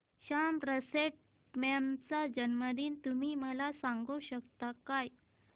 Somerset Maugham चा जन्मदिन तुम्ही मला सांगू शकता काय